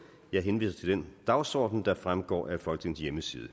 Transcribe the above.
jeg henviser til den dagsorden der fremgår af folketingets hjemmeside